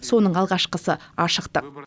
соның алғашқысы ашықтық